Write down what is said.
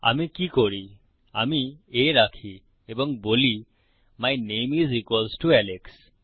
আমি কি করি আমি a রাখি এবং বলি my name is equals to Alex